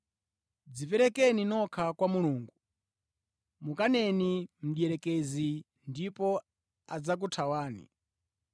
Dziperekeni nokha kwa Mulungu. Mukaneni Mdierekezi ndipo adzakuthawani.